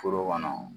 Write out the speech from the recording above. Foro kɔnɔ